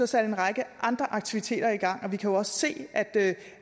sat en række andre aktiviteter i gang og vi kan jo også se